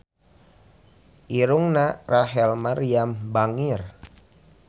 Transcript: Irungna Rachel Maryam bangir